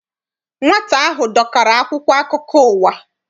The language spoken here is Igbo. Nwata ahụ dọkara akwụkwọ akụkọ ụwa.